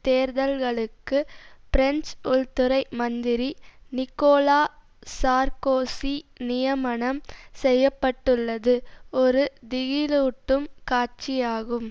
தேர்தல்களுக்கு French உள்துறை மந்திரி Nicolas Sarkozy நியமனம் செய்ய பட்டுள்ளது ஒரு திகிலூட்டும் காட்சியாகும்